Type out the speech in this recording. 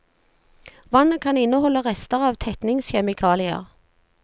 Vannet kan inneholde rester av tetningskjemikalier.